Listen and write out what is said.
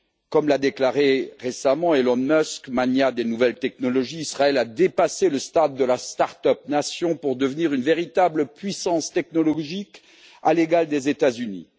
Comme l'a déclaré récemment Elon Musk, magnat des nouvelles technologies, Israël a dépassé le stade de la start up nation pour devenir une véritable puissance technologique à l'égal des États Unis.